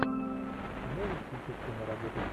можешь включить киноработу